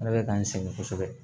Ala bɛ k'an sɛgɛn kosɛbɛ